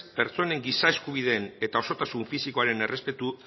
pertsonen giza eskubideen eta osotasun fisikoaren